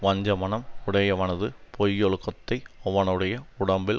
வஞ்சமனம் உடையவனது பொய்யொழுக்கத்தை அவனுடைய உடம்பில்